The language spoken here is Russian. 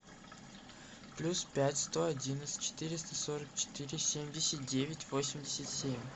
плюс пять сто одиннадцать четыреста сорок четыре семьдесят девять восемьдесят семь